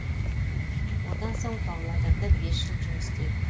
одан соң павлодарда бес жыл жұмыс істедім